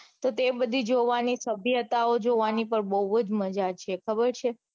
તો તે બધી જોવાની સભ્યતાઓ જોવાની પણ બઉ જ માજા છે ખબર છે.